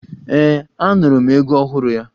Ee, Anụrụ m egwu ọhụrụ ya.